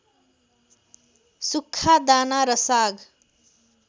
सुक्खा दाना र साग